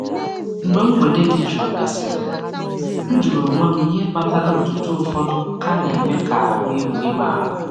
Mgbe mgbede dị jụụ gasịrị, m jụrụ onwe m ihe kpatara otuto ụfọdụ ka na-eme ka ahụ erughị m ala.